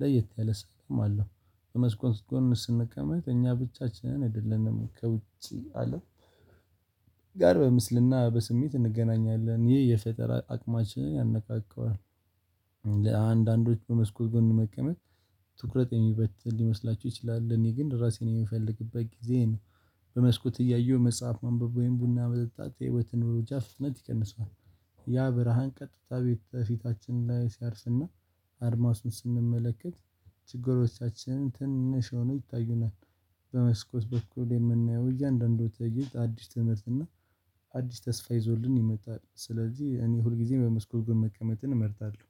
ለየት ያለ ሰላም አለው። በመስኮት ውስጥም ስንቀመጥ እኛ ብቻችንን አይደለንም ከ ውጪ አለም ጋር በምስልና በስሜት እንገናኛለን ይሄ የፈጠራ አቅማችን ያነቃቃዋል። ለአንዳንዶች በመስኮት ጎን መቀመጥ ትኩረት የሚበተን ሊመስላችሁ ይችላል ለእኔ ግን ራሴን የምፈልግበት ጊዜ ነው። በመስኮት እያየሁ መጽሐፍ ማንበብ ወይም ቡና መጠጣት የህይወትን እሩጫ ፍጥነት ይቀንሰዋል። ያ ብርሃን ቀጥታ ቤት ፊቲ ለፊታችን ላይ ሲያርፍና አድማስ ስንመለከት ችግሮቻችንን ትንሽ ሆኖው ይታዩናል። በመስኮት በኩል የምናየው እያንዳንዱ ተእይንት አዲስ ትምህርት እና አዲስ ተስፋ ይዞልን ይመጣል። ስለዚህ እኔ ሁልጊዜ በመስኮብ መቀመጥን እመርታለሁ።